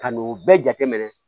Ka n'o bɛɛ jateminɛ